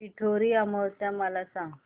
पिठोरी अमावस्या मला सांग